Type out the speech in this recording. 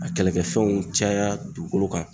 A kɛlɛkɛfɛnw caya dugukolo kan